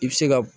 I bɛ se ka